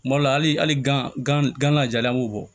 Kuma dɔ la hali gan gan gana jalanko